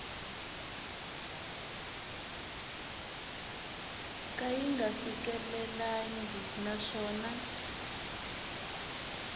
ka yi nga fikelelangi naswona